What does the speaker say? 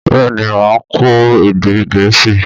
Bẹ́ẹ̀ ni, mà á kọ́ èdè Gẹ̀ẹ́sì